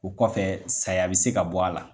O kɔfɛ saya bɛ se ka bɔ a la.